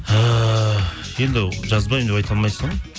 ііі енді жазбаймын деп айта алмайсың ғой